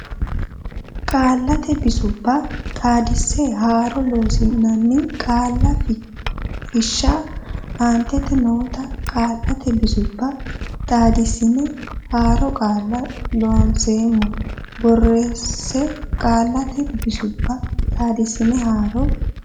Qaallate Bisubba Xaadise Haaro Loossinanni Qaalla Fushsha aantete noota qaallate bisubba xaadissine haaro qaalla Loonseemmo borreesse Qaallate Bisubba Xaadise Haaro.